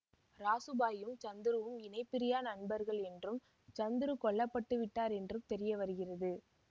ராசு பாயும் சந்துருவும் இணைபிரியா நண்பர்கள் என்றும் சந்துரு கொல்ல பட்டு விட்டார் என்றும் தெரியவருகிறது